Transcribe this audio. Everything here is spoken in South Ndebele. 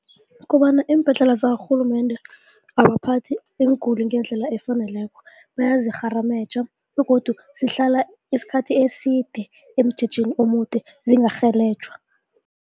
Kobana iimbhedlela zakarhulumende abaphathi iinguli ngendlela efaneleko, bayazirharameja begodu zihlala isikhathi eside emjejeni omude zingarhelejwa.